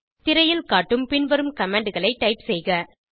திரையில் காட்டும் பின்வரும் கமாண்ட் களை டைப் செய்க